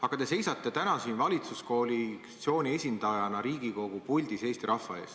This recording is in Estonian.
Aga te seisate täna valitsuskoalitsiooni esindajana Riigikogu puldis Eesti rahva ees.